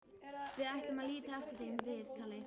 Við ætlum að líta eftir þeim, við Kalli.